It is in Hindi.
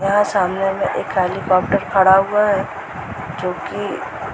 यहाँ सामने में एक हेलीकाप्टर खड़ा हुआ है जो की --